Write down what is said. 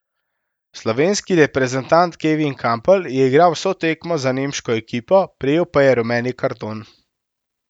Slovenski reprezentant Kevin Kampl je igral vso tekmo za nemško ekipo, prejel pa je rumeni karton.